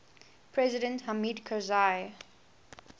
president hamid karzai